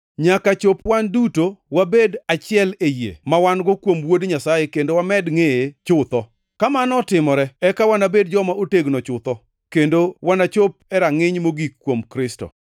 nyaka chop wan duto wabed achiel e yie mawan-go kuom Wuod Nyasaye kendo wamed ngʼeye chutho. Kamano otimore eka wanabed joma otegno chutho, kendo wanachop e rangʼiny mogik kuom Kristo.